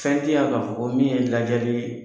Fɛn tɛ yan ka fɔ ko min ye lajali